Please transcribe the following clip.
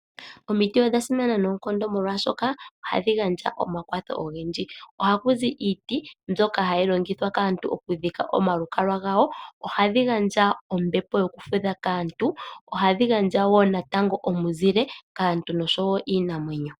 Omiti odha simana noonkondo, molwashoka ohadhi gandja omakwatho ogendji. Ohaku zi iiti mbyoka hayi longithwa kaantu okudhika omalukalwa gawo, ohadhi gandja ombepo yokufudha kaantu, ohadhi gandja wo natango omuzile kaantu nosho wo kiinamwenyo.